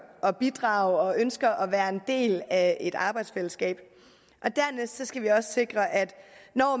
at bidrage og ønsker at være en del af et arbejdsfællesskab og sikre at